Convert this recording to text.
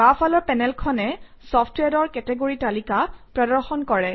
বাওঁফালৰ পেনেলখনে চফট্ৱেৰৰ কেটেগৰী তালিকা প্ৰদৰ্শন কৰে